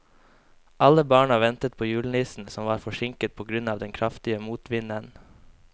Alle barna ventet på julenissen, som var forsinket på grunn av den kraftige motvinden.